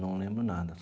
Não lembro nada.